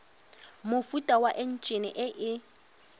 mofuta wa enjine e e